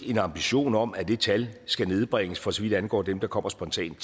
en ambition om at det tal skal nedbringes for så vidt angår dem der kommer spontant